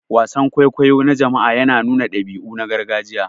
Wasan kwaikwayo na jama'a yana nuna dabi'u na gargajiya.